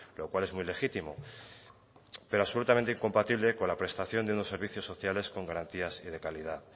lo cual es muy legítimo pero absolutamente incompatible con la prestación de unos servicios sociales con garantías y de calidad